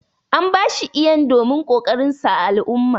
An ba shi Iyan domin kokarin sa ã al'umma.